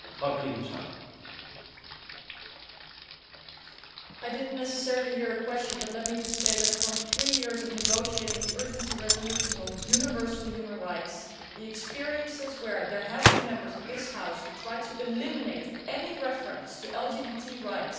I did not necessarily hear a question. Let me just say that, over three years of negotiating urgency resolutions on universal human rights, there have been countless instances where Members of this House have tried to eliminate any reference to LGBT rights and violations of the rights of people, whether through discrimination,